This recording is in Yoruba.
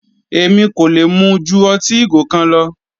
Èmi kò lè mu ju ọtí ìgò kan lọ.